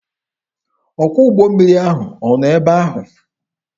Ọkwọ ụgbọ mmiri ahụ ọ nọ ebe ahụ?